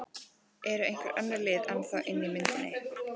Eru einhver önnur lið ennþá inni í myndinni?